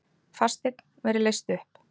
Fasteign verði leyst upp